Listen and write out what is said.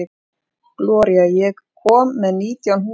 Gloría, ég kom með nítján húfur!